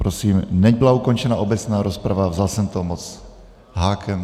Prosím, nebyla ukončena obecná rozprava, vzal jsem to moc hákem.